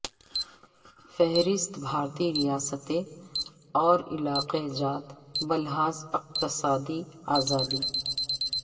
فہرست بھارتی ریاستیں اور علاقہ جات بلحاظ اقتصادی ازادی